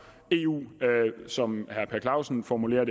eu som herre per clausen formulerer